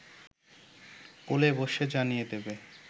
কোলে বসে জানিয়ে দেবে